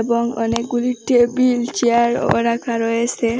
এবং অনেকগুলি টেবিল চেয়ারও রাখা রয়েসে।